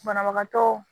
Banabagatɔ